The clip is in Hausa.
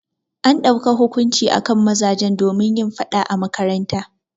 An dauka hukunci akan mazajen domin yin faɗa a makaranta.